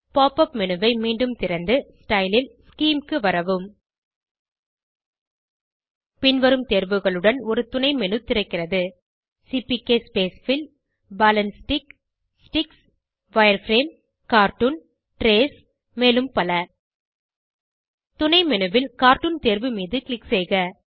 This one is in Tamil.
pop உப் மேனு ஐ மீண்டும் திறந்து ஸ்டைல் ல் ஸ்கீம் க்கு வரவும் பின்வரும் தேர்வுகளுடன் ஒரு துணை menu திறக்கிறது CPK spacefill ball and stick sticks wireframe cartoon trace மேலும் பல துணை menu ல் கார்ட்டூன் தேர்வு மீது க்ளிக் செய்க